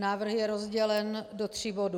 Návrh je rozdělen do tří bodů.